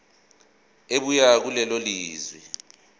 ebuya kulelo lizwe